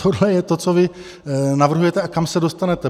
Tohle je to, co vy navrhujete a kam se dostanete.